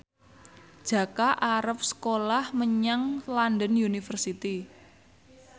Jaka arep sekolah menyang London University